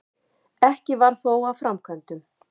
Ekki varð þó af framkvæmdum.